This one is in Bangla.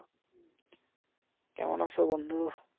কেমন আছো বন্ধু